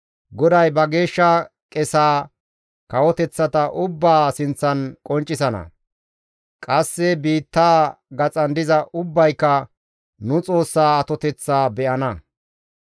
GODAY ba geeshsha qesaa kawoteththata ubbaa sinththan qonccisana; qasse biittaa gaxan diza ubbayka nu Xoossaa atoteththaa be7ana.